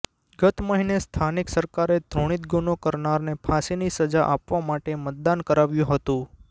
ગત મહિને સ્થાનિક સરકારે ધૃણિત ગુનો કરનારને ફાંસીની સજા આપવા માટે મતદાન કરાવ્યું હતું